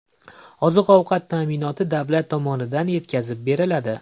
Oziq-ovqat ta’minoti davlat tomonidan yetkazib beriladi.